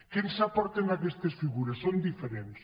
què ens aporten aquestes figures són diferents